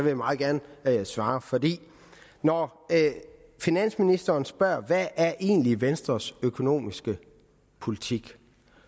jeg meget gerne svare for når finansministeren spørger hvad der egentlig er venstres økonomiske politik